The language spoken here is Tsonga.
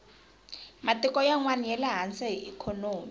matiko yanwani yale hansi hi ikhonomi